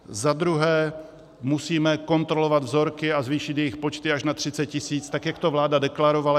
Za druhé musíme kontrolovat vzorky a zvýšit jejich počty až na 30 tisíc, tak jak to vláda deklarovala.